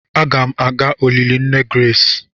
Aga m aga olili nne Grace.